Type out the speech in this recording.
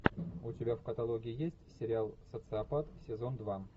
у тебя в каталоге есть сериал социопат сезон два